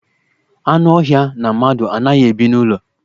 Anụ ọhịa na mmadụ anaghị ebi n'ụlọ.